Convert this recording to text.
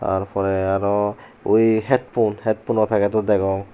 tar porey aro uii head phone head phone o packeto degong.